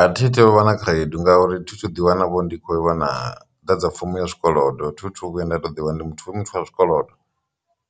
A thi tu vha na khaedu ngauri thi thu ḓi wana ndi khou iwana ḓa dza fomo ya zwikolodo thi thu vhuya nda ṱoḓiwa ndi muthu muthu a zwikolodo,